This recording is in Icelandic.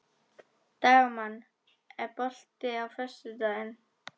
Dagmann, er bolti á föstudaginn?